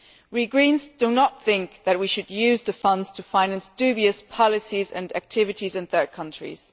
We Greens do not think that we should use the funds to finance dubious policies and activities in third countries.